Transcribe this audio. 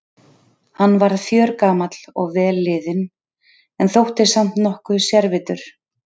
Hann varð fjörgamall og vel liðinn- en þótti samt nokkuð sérvitur.